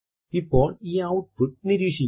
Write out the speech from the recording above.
ഇപ്പോൾ ഈ ഔട്ട്പുട്ട് നിരീക്ഷിക്കുക